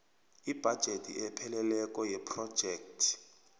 ibhajethi epheleleko yephrojekhthi